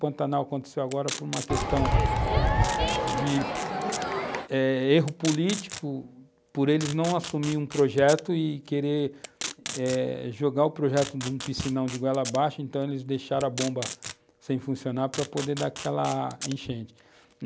Pantanal aconteceu agora por uma questão de erro eh político por eles não assumirem um projeto e quererem eh jogar um projeto de um piscinão de goela abaixo, então eles deixaram a bomba sem funcionar para poder dar aquela enchente.